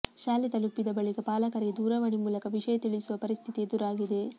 ಶಾಲೆ ತಲುಪಿದ ಬಳಿಕ ಪಾಲಕರಿಗೆ ದೂರವಾಣಿ ಮೂಲಕ ವಿಷಯ ತಿಳಿಸುವ ಪರಿಸ್ಥಿತಿ ಎದುರಾಗಿದೆ